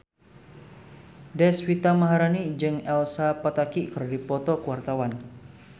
Deswita Maharani jeung Elsa Pataky keur dipoto ku wartawan